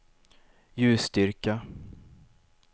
ljusstyrka